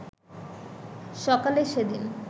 সকালে সেদিন